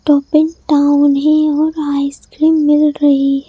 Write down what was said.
topping town है one ice cream मिल रही--